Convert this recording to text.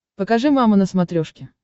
покажи мама на смотрешке